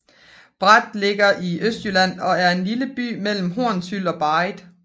Breth ligger i Østjylland og er en lille landsby mellem Hornsyld og Barrit